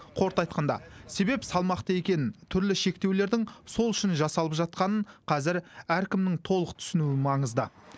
қорыта айтқанда себеп салмақты екенін түрлі шектеулердің сол үшін жасалып жатқанын қазір әркімнің толық түсінуі маңызды